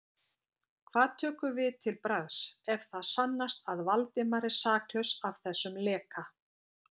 Hvað tökum við til bragðs, ef það sannast að Valdimar er saklaus af þessum leka?